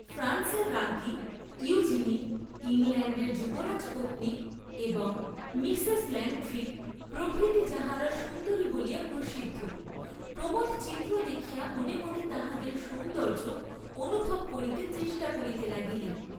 ফ্রান্সের রাজ্ঞী ইয়ুজিনী ইংলণ্ডের যুবরাজ পত্নী এবং মিশেশ ল্যাংট্রি প্রভৃতি যাঁহারা সুন্দরী বলিয়া প্রসিদ্ধ, প্রমোদ চিত্র দেখিয়া মনে মনে তাঁহাদের সৌন্দয্য অনুভব করিতে চেষ্টা করিতে লাগিলেন।